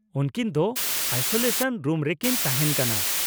ᱩᱱᱠᱤᱱ ᱫᱚ isolation room ᱨᱮᱠᱤᱱ ᱛᱟᱦᱮᱱ ᱠᱟᱱᱟ ᱾